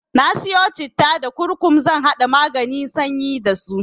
Na siyo citta da kurkum zan haɗa maganin sanyi dasu.